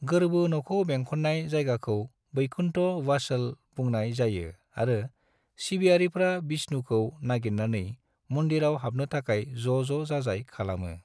गोरबो न'खौ बेंखननाय जायगाखौ वैकुण्ट वासल बुंनाय जायो आरो सिबियारिफ्रा विष्णुखौ नागिरनानै मन्दिरआव हाबनो थाखाय ज'ज' जाजाय खालामो।